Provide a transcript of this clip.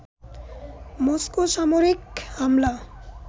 Moscow সামরিক হামলা